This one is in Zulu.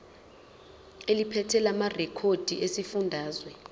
eliphethe lamarcl esifundazwe